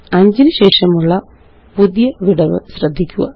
5 നു ശേഷമുള്ള പുതിയ വിടവ് ശ്രദ്ധിക്കുക